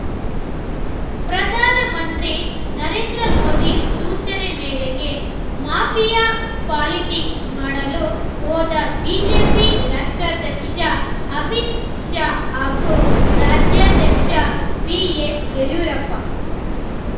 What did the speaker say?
ಪ್ರಧಾನಮಂತ್ರಿ ನರೇಂದ್ರ ಮೋದಿ ಸೂಚನೆ ಮೇರೆಗೆ ಮಾಫಿಯಾ ಪಾಲಿಟಿಕ್ಸ್‌ ಮಾಡಲು ಹೋದ ಬಿಜೆಪಿ ರಾಷ್ಟ್ರಾಧ್ಯಕ್ಷ ಅಮಿತ್‌ ಶಾ ಹಾಗೂ ರಾಜ್ಯಾಧ್ಯಕ್ಷ ಬಿಎಸ್‌ ಯಡಿಯೂರಪ್ಪ